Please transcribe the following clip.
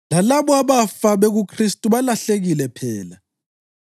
Lalabo abafa bekuKhristu balahlekile phela.